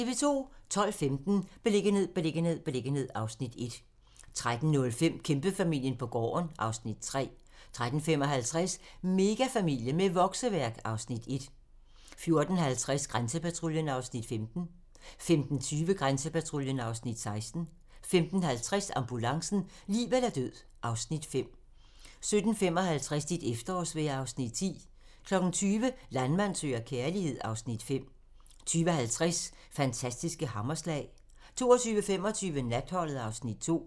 12:15: Beliggenhed, beliggenhed, beliggenhed (Afs. 1) 13:05: Kæmpefamilien på gården (Afs. 3) 13:55: Megafamilie med vokseværk (Afs. 1) 14:50: Grænsepatruljen (Afs. 15) 15:20: Grænsepatruljen (Afs. 16) 15:50: Ambulancen - liv eller død (Afs. 5) 17:55: Dit efterårsvejr (Afs. 10) 20:00: Landmand søger kærlighed (Afs. 5) 20:50: Fantastiske hammerslag 22:25: Natholdet (Afs. 2)